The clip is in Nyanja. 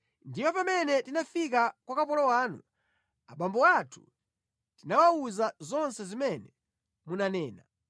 Ndiye pamene tinafika kwa kapolo wanu, abambo athu tinawawuza zonse zimene munanena.